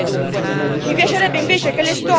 Nulla di nuovo sotto il sole, dunque.